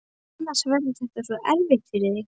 Annars verður þetta svo erfitt fyrir þig.